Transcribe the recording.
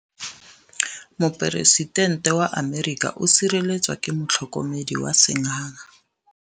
Poresitêntê wa Amerika o sireletswa ke motlhokomedi wa sengaga.